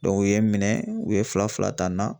u ye minɛ u ye fila fila ta n na